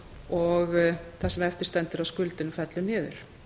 og það sem eftir stendur af skuldinni fellur niður